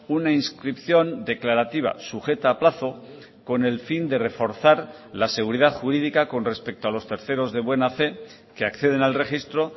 una inscripción declarativa sujeta a plazo con el fin de reforzar la seguridad jurídica con respecto a los terceros de buena fe que acceden al registro